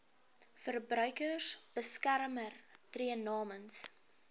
verbruikersbeskermer tree namens